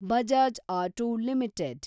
Bajaj auto limited